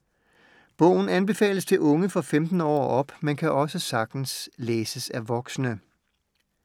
Bogen anbefales til unge fra 15 år og op, men kan også sagtens læses af voksne.